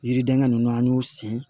Yiridenkɛ nunnu an y'u sen